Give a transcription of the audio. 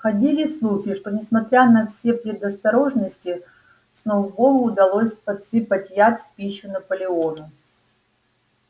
ходили слухи что несмотря на все предосторожности сноуболлу удалось подсыпать яд в пищу наполеону